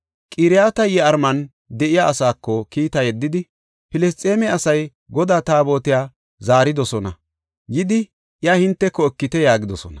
Qiriyat-Yi7aariman de7iya asaako kiita yeddidi, “Filisxeeme asay Godaa Taabotiya zaaridosona; yidi iya hinteko ekite” yaagidosona.